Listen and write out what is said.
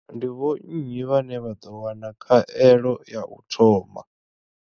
Ndi vho nnyi vhane vha ḓo wana khaelo ya u thoma?